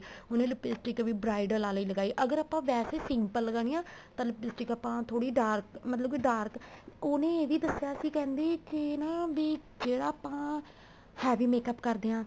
ਉਹਨੇ lipstick ਵੀ bridal ਵਾਲੀ ਲਗਾਈ ਅਗਰ ਆਪਾਂ ਵੈਸੇ simple ਲਗਾਣੀ ਆ ਤਾਂ lipstick ਆਪਾਂ ਥੋੜੀ ਜੀ dark ਮਤਲਬ ਕੀ dark ਉਹਨੇ ਇਹ ਵੀ ਦੱਸਿਆ ਸੀ ਕਹਿੰਦੀ ਕੇ ਨਾ ਵੀ ਜਿਹੜਾ ਆਪਾਂ heavy makeup ਕਰਦੇ ਹਾਂ